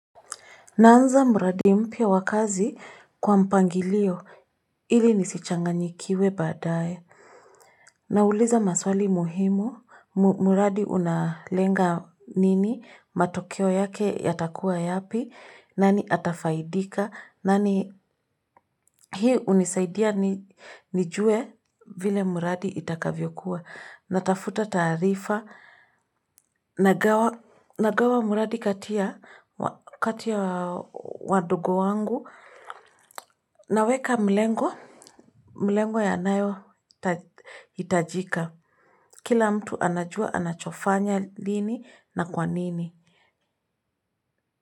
Naanza mradi mpya wa wa kazi kwa mpangilio ili nisichanganyikiwe baadaye. Nauliza maswali muhimu, mradi unalenga nini, matokeo yake yatakuwa yapi, nani atafaidika, hii unisaidia nijue vile mradi itakavyo kuwa. Natafuta taarifa, nagawa mradi kati ya wadogo wangu, naweka mlengo inayohitajika. Kila mtu anajua anachofanya lini na kwanini.